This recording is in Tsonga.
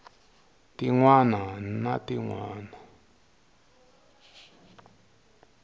tin wana na tin wana